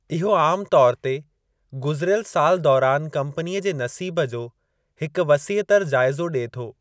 इहो आमु तौर ते गुज़िरियल साल दौरानि कम्पनीअ जे नसीब जो हिकु वसीहतर जाइज़ो ॾिए थो।